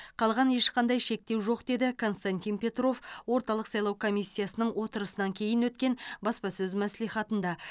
қалған ешқандай шектеу жоқ деді константин петров орталық сайлау комиссиясының отырысынан кейін өткен баспасөз мәслихатында